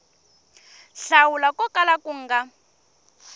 hlawula ko kala ku nga